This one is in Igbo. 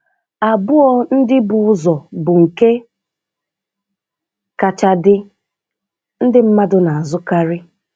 Abụọ ndị bu ụzọ bụ nke kacha dị, ndị mmadụ na-azụkarị